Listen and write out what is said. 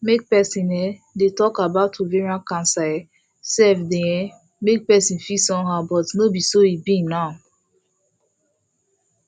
make persin um dey talk about ovarian cancer um sef dey um make persin feel somehow but no be so e be now